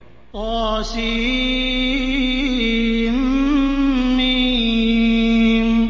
طسم